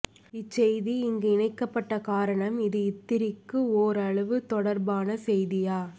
இச்செய்தி இங்கு இணைக்கப்ப்ட்ட காரணம் இது இத்திரிக்கு ஒரளவு தொடர்பான செய்தியா